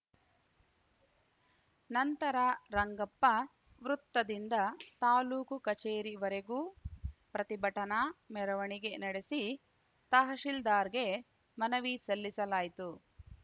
ನಂತರ ರಂಗಪ್ಪ ವೃತ್ತದಿಂದ ತಾಲೂಕು ಕಚೇರಿವರೆಗೂ ಪ್ರತಿಭಟನಾ ಮೆರವಣಿಗೆ ನಡೆಸಿ ತಹಶಿಲ್ದಾರ್‌ಗೆ ಮನವಿ ಸಲ್ಲಿಸಲಾಯಿತು